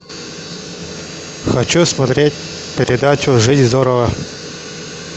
хочу смотреть передачу жить здорово